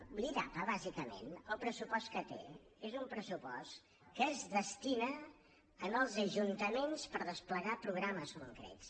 l’idapa bàsicament el pressupost que té és un pressupost que es destina als ajuntaments per desplegar programes concrets